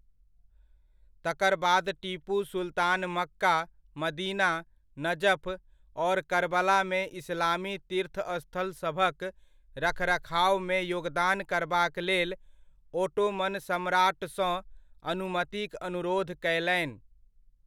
तकर बाद Tipu Sultan Mecca, Medina, Najaf और कर्बलामे इस्लामी तीर्थस्थलसभक रखरखावमे योगदान करबाक लेल ओटोमन सम्राटसँ अनुमतिक अनुरोध कयलनि।